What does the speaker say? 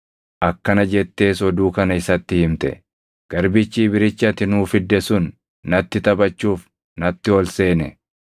Akkana jettees oduu kana isatti himte: “Garbichi Ibrichi ati nuu fidde sun natti taphachuuf natti ol seene.